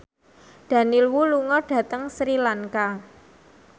Daniel Wu lunga dhateng Sri Lanka